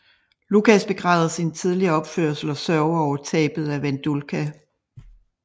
Lukáš begræder sin tidligere opførsel og sørger over tabet af Vendulka